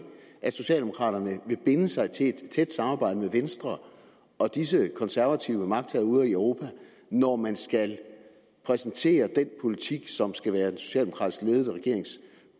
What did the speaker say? at socialdemokraterne vil binde sig til et tæt samarbejde med venstre og disse konservative magthavere ude i europa når man skal præsentere den politik som skal være den socialdemokratisk ledede regerings